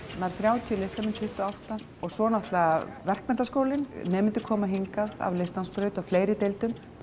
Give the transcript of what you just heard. nær þrjátíu listamenn tuttugu og átta svo er það Verkmenntaskólinn nemendur koma hingað af listnámsbraut og fleiri deildum